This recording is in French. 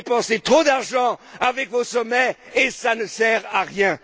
Vous dépensez trop d'argent avec vos sommets et cela ne sert à rien.